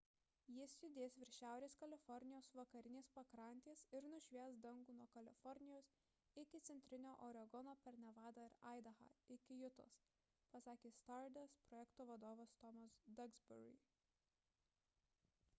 jis judės virš šiaurės kalifornijos vakarinės pakrantės ir nušvies dangų nuo kalifornijos iki centrinio oregono per nevadą ir aidahą iki jutos – pasakė stardust projekto vadovas tomas duxbury